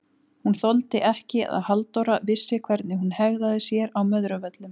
Hún þoldi ekki að Halldóra vissi hvernig hún hegðaði sér á Möðruvöllum!